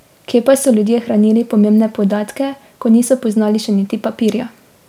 Kje pa so ljudje hranili pomembne podatke, ko niso poznali še niti papirja?